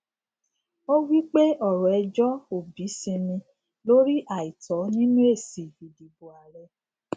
ó wí pé ọrọ ẹjọ obi sinmi lórí àìtọ nínú èsì ìdìbò ààrẹ